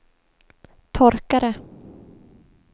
torkare